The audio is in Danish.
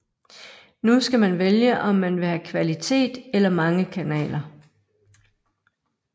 Nu skal man vælge om man vil have kvalitet eller mange kanaler